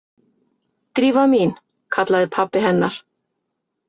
Drífa mín- kallaði pabbi hennar.